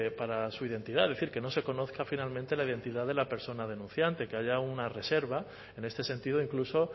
para su identidad es decir que no se conozca finalmente la identidad de la persona denunciante que haya una reserva en este sentido incluso